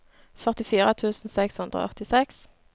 førtifire tusen seks hundre og åttiseks